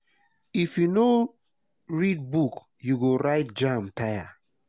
if you no read book you go write jamb tire.